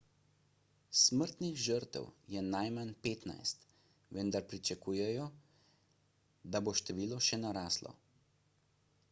smrtnih žrtev je najmanj 15 vendar pričakujejo da bo število še naraslo